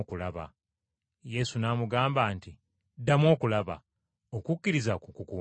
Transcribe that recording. Yesu n’amugamba nti, “Ddamu okulaba. Okukkirizakwo kukuwonyezza.”